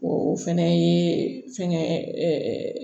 O fɛnɛ ye fɛngɛ